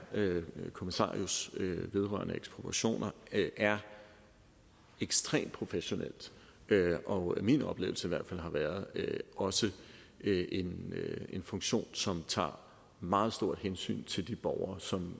kommissarius vedrørende ekspropriationer er ekstremt professionelt og at min oplevelse i hvert fald har været at det også er en funktion som tager meget stort hensyn til de borgere som